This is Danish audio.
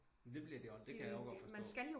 Men det bliver de også det kan jeg jo godt forstå